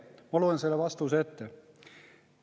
Ma loen selle vastuse ette.